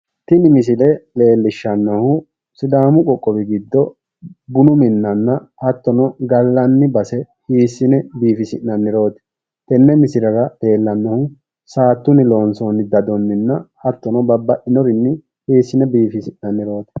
Tini misile leellishshannohu sidaamu qoqqowi giddo bunu minnanna hattono gallanni base hiissine biifissi'nannirooti. Tenne misilera leellannohu saattunni loonssoonni dadonnninna hattonni babbaxinorinni hiissine biifisi'nannirooti.